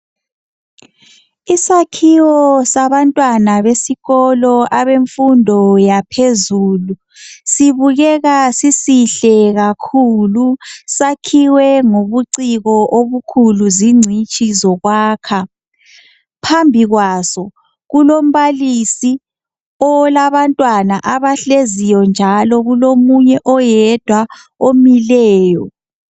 Isakhiwo sabantwana besikolo semfundo yaphezulu sibukeka sisihle kakhulu sakhiwe ngobuciko obukhulu zingcitshi zokwakha. Phambi kwaso kulombalisi olabantwana abahleziyo njalo kulomunye oyedwa omileyo.